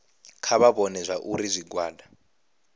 kha vha vhone zwauri zwigwada